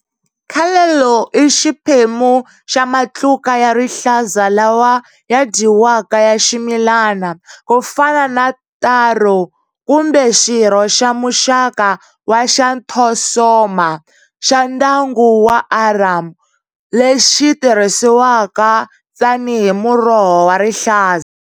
Callaloo i xiphemu xa matluka ya rihlaza lawa ya dyiwaka ya ximilani kufana na taro kumbe xirho xa muxaka wa Xanthosoma, xa ndyangu wa arum lexi tirhisiwaka tani hi muroho wa rihlaza.